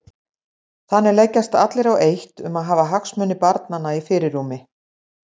Þannig leggjast allir á eitt um að hafa hagsmuni barnanna í fyrirrúmi.